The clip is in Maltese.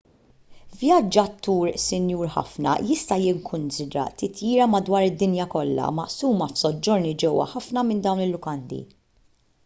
vjaġġatur sinjur ħafna jista' jikkunsidra titjira madwar id-dinja kollha maqsuma f'soġġorni ġewwa ħafna minn dawn il-lukandi